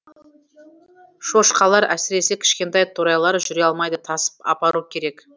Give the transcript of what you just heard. шошқалар әсіресе кішкентай торайлар жүре алмайды тасып апару керек